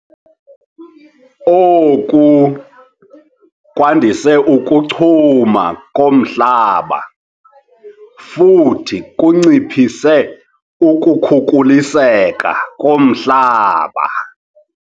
Oku kwandise ukuchuma komhlaba futhi kunciphise ukukhukuliseka komhlaba.